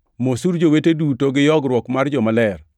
Mosuru jowete duto gi yogruok mar jomaler.